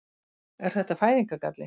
Er þetta fæðingargalli?